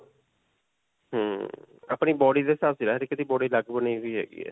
ਹਮਮ ਅਪਨੀ body ਦੇ ਸਾਵ 'ਚ ਰਹਿ ਵੀ ਹੈਗੀ ਹੈ.